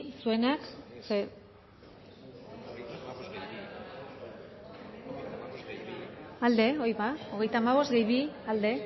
siete contra alde hori da hogeita hamabost gehi bi alde ez